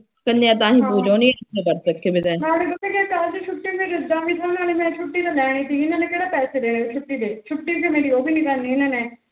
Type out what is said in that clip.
ਮੈ ਛੁਟੀ ਤਾ ਲੈਣੀ ਸੀ ਇਹਨਾ ਨੇ ਕਿਹੜਾ ਪੈਸੇ ਦੇਣੇ ਛੁਟੀ ਦੇ ਛੁਟੀ ਤਾ ਉਹ ਵੀ ਨੀ ਕਰਨੀ ਇਹਨਾ ਨੇ